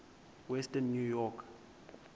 western new york